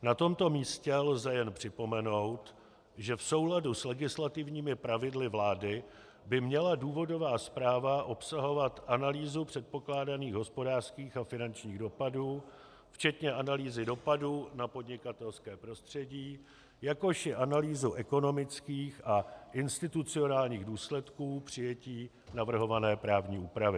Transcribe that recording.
Na tomto místě lze jen připomenout, že v souladu s legislativními pravidly vlády by měla důvodová zpráva obsahovat analýzu předpokládaných hospodářských a finančních dopadů včetně analýzy dopadů na podnikatelské prostředí, jakož i analýzu ekonomických a institucionálních důsledků přijetí navrhované právní úpravy.